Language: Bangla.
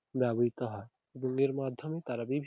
ব্যাবহৃত হয়। গুনের মাধ্যমে তারা ।